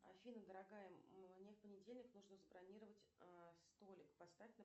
афина дорогая мне в понедельник нужно забронировать столик поставь